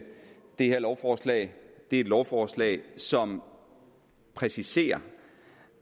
det her lovforslag er et lovforslag som præciserer